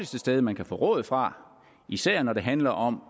sted man kan få råd fra især når det handler om